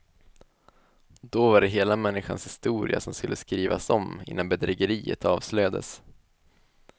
Då var det hela människans historia som skulle skrivas om innan bedrägeriet avslöjades.